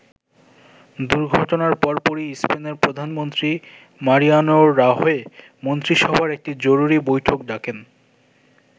দুর্ঘটনার পরপরই স্পেনের প্রধানমন্ত্রী মারিয়ানো রাহোয় মন্ত্রীসভার একটি জরুরী বৈঠক ডাকেন।